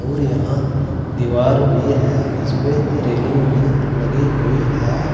अउर यहां दीवार भी है। इसमें रेलिंग भी लगी हुई है।